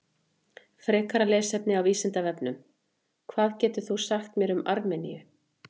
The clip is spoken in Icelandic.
Frekara lesefni á Vísindavefnum: Hvað getur þú sagt mér um Armeníu?